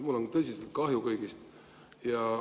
Mul on kõigist tõsiselt kahju.